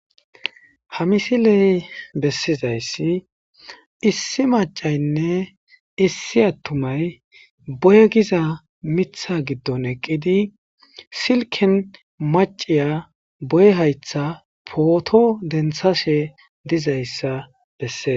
Ha missile besizayssi issi maacay nne issi attumay booye giza miththa giddon eqqidi siliken maacy booye hayththa pootto deenttashshe dzayssa besess.